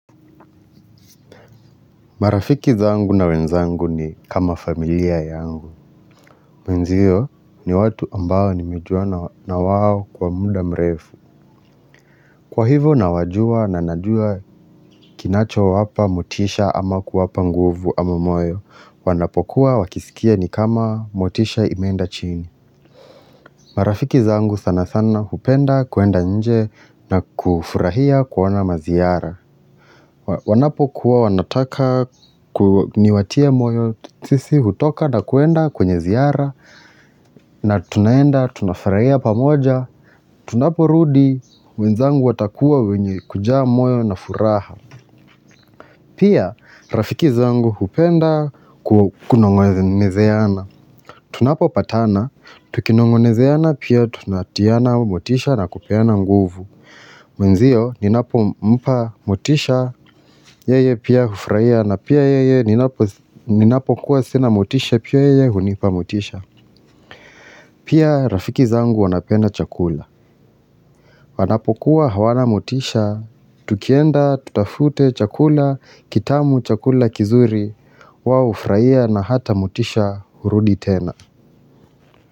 Marafiki zangu na wenzangu ni kama familia yangu. Mwenzio ni watu ambao nimejua na wao kwa muda mrefu. Kwa hivo nawajua na najua kinacho wapa motisha ama kuwapa nguvu ama moyo. Wanapokuwa wakisikia ni kama motisha imeenda chini. Marafiki zangu sana sana hupenda kuenda nje na kufurahia kuona maziyara. Wanapo kuwa wanataka niwatie moyo, sisi hutoka na kuenda kwenye ziara na tunaenda, tunafurahia pamoja Tunapo rudi, wenzangu watakuwa wenye kujaa moyo na furaha Pia, rafiki zangu hupenda kunongonezeana Tunapo patana, tukinongonezeana pia tunatiana motisha na kupeana nguvu Mwenzio ninapo mpa mutisha yeye pia ufraia na pia yeye ninapo kuwa sina mutisha pia yeye hunipa mutisha Pia rafiki zangu wanapenda chakula wanapo kuwa hawana mutisha, tukienda, tutafute chakula, kitamu, chakula, kizuri, wao hufurahia na hata motisha hurudi tena.